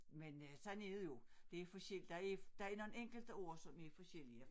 Men øh sådan er det jo der er der nogen enkelte ord som er forskellige